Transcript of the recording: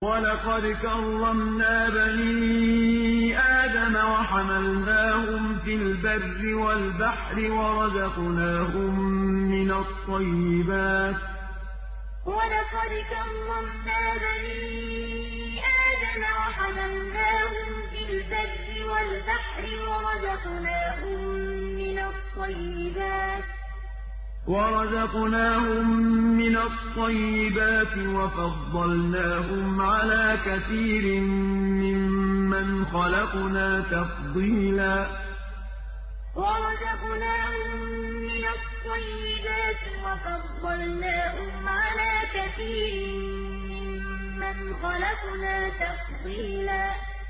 ۞ وَلَقَدْ كَرَّمْنَا بَنِي آدَمَ وَحَمَلْنَاهُمْ فِي الْبَرِّ وَالْبَحْرِ وَرَزَقْنَاهُم مِّنَ الطَّيِّبَاتِ وَفَضَّلْنَاهُمْ عَلَىٰ كَثِيرٍ مِّمَّنْ خَلَقْنَا تَفْضِيلًا ۞ وَلَقَدْ كَرَّمْنَا بَنِي آدَمَ وَحَمَلْنَاهُمْ فِي الْبَرِّ وَالْبَحْرِ وَرَزَقْنَاهُم مِّنَ الطَّيِّبَاتِ وَفَضَّلْنَاهُمْ عَلَىٰ كَثِيرٍ مِّمَّنْ خَلَقْنَا تَفْضِيلًا